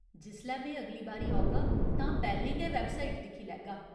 जिसलै में अगली बारी औगा तां पैह्‌लें गै वैबसाइट दिक्खी लैगा।